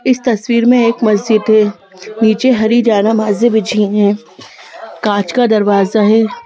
इस तस्वीर में एक मस्जिद है नीचे हरी जानामाजें बिझी हैं कांच का दरवाजा है ।